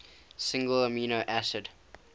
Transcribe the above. single amino acid